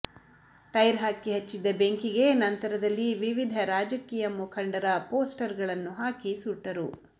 tyre ಹಾಕಿ ಹಚ್ಚಿದ್ದ ಬೆಂಕಿಗೆ ನಂತರದಲ್ಲಿ ವಿವಿಧ ರಾಜಕೀಯ ಮುಖಂಡರ ಪೋಸ್ಟರ್ಗಳನ್ನು ಹಾಕಿ ಸುಟ್ಟರು